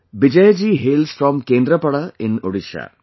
Bijayji hails from Kendrapada in Odisha